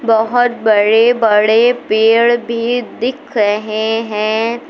बहोत बड़े बड़े पेड़ भी दिख रहे हैं।